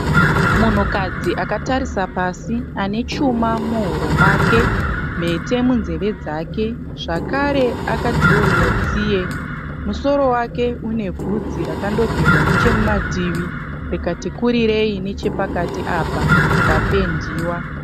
Munhukadzi akatarisa pasi akatarisa pasi. Ane chuma muhuro make, mhete munzeve dzake zvakare akadhirowewa tsiye. Musoro wake une bvudzi rakandogerwa nechemumativi rikati kurirei nechepakati apa rikapendiwa.